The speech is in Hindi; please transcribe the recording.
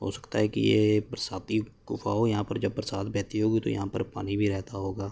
हो सकता है कि ये बरसाती गुफा हो यहाँ पर जब बरसात बहती होगी तो यहाँ पर पानी भी रहता होगा।